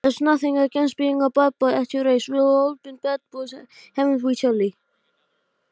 Í stríði voru engin grið gefin.